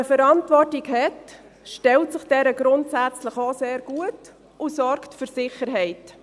Wer eine Verantwortung hat, stellt sich dieser grundsätzlich sehr gut und sorgt für die Sicherheit.